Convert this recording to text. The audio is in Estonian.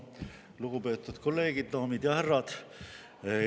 Lugupeetud kolleegid, daamid ja härrad!